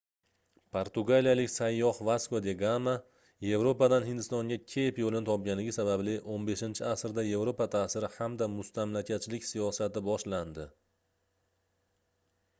portugaliyalik sayyoh vasko da gama yevropadan hindistonga keyp yoʻlini topganligi sababli 15-asrda yevropa taʼsiri hamda mustamlakachilik siyosati boshlandi